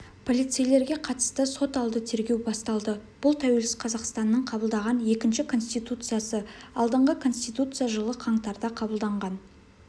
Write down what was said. полицейлерге қатысты соталды тергеу басталды бұл тәуелсіз қазақстанның қабылдаған екінші конституциясы алдыңғы конституция жылы қаңтарда қабылданған